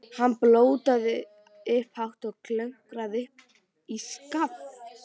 Hann blótaði upphátt og klöngraðist upp í skafl.